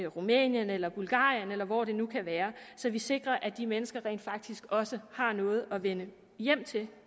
rumænien eller bulgarien eller hvor det nu kan være så vi sikrer at de mennesker rent faktisk også har noget at vende hjem til